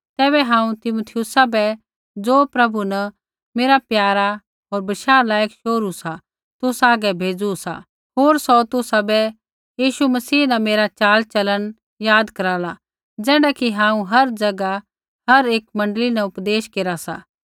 तैबै हांऊँ तीमुथियुस बै ज़ो प्रभु न मेरा प्यारा होर बशाह लायक शोहरू सा तुसा हागै भेज़ू सा होर सौ तुसाबै यीशु मसीह न मेरा चाल चलन याद कराला ज़ैण्ढा कि हांऊँ हर ज़ैगा हर एकी मण्डली न उपदेश केरा सा